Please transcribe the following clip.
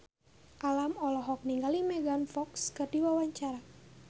Alam olohok ningali Megan Fox keur diwawancara